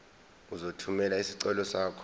uzothumela isicelo sakho